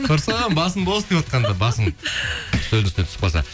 құрсын басым бос деватқанда басың үстелдің үстіне түсіп қалса